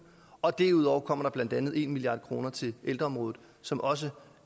og derudover kommer der blandt andet en milliard kroner til ældreområdet som også